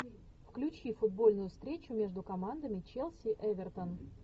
включи футбольную встречу между командами челси эвертон